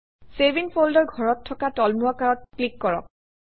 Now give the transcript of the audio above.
save in folder ঘৰত থকা তলমুৱা কাঁড়ত ক্লিক কৰক